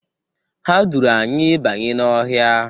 Ha duuru anyị banye n'ọhịa.